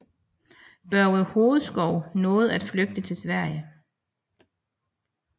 Børge Hovedskou nåede at flygte til Sverige